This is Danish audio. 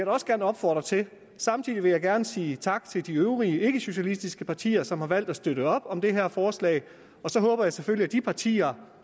også gerne opfordre til samtidig vil jeg gerne sige tak til de øvrige ikkesocialistiske partier som har valgt at støtte op om det her forslag og så håber jeg selvfølgelig at de partier